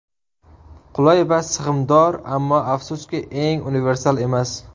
Qulay va sig‘imdor, ammo afsuski, eng universal emas.